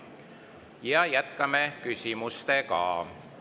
Ja jätkame küsimustega.